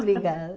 Obrigada.